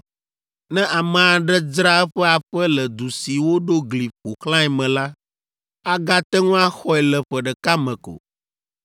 “ ‘Ne ame aɖe dzra eƒe aƒe le du si woɖo gli ƒo xlãe me la, agate ŋu axɔe le ƒe ɖeka me ko.